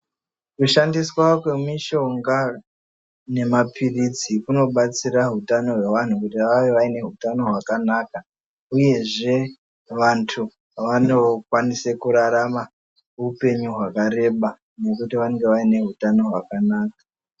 Kushandiswa kwemi shonga nema pirisyi kuno batsira hutanho hwevanhu kuti vave vaini huyano hwaka naka uyezve vandu vano kwanise kurarama hupenyu hwaka reba nekuti vanenge vaine hutano hwakanaka.